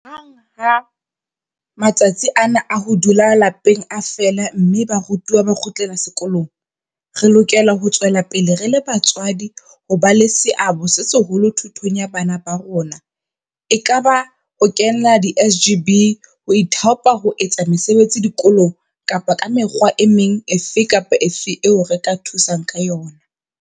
Hang ha matsatsi ana a ho dula lapeng a fela mme barutwana ba kgutlela sekolong, re lokela ho tswela pele re le batswadi ho ba le seabo se seholo thutong ya bana ba rona, ekaba ka ho kenela di-SGB, ho ithaopa ho etsa mesebetsi dikolong kapa ka mekgwa e meng efe kapa efe eo re ka thusang ka yona.